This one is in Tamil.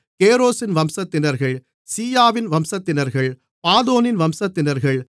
கேரோசின் வம்சத்தினர்கள் சீயாவின் வம்சத்தினர்கள் பாதோனின் வம்சத்தினர்கள்